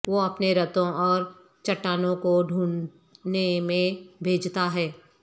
وہ اپنے رتھوں اور چٹانوں کو ڈھونڈنے میں بھیجتا ہے